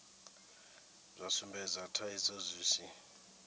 zwa sumbedza thaidzo zwi si